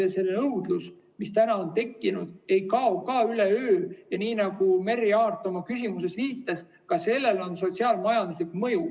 Ja see nõudlus, mis on tekkinud, ei kao ka üleöö, ja nii nagu Merry Aart oma küsimuses viitas, ka sellel on sotsiaal-majanduslik mõju.